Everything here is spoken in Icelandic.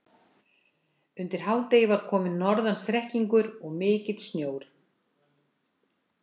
Undir hádegi var kominn norðan strekkingur og mikill sjór.